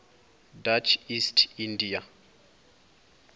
dutch east india